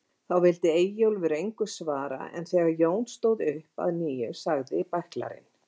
Þá vildi Eyjólfur engu svara en þegar Jón stóð upp að nýju sagði bæklarinn